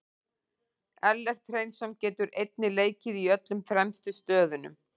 Ellert Hreinsson getur einnig leikið í öllum fremstu stöðunum.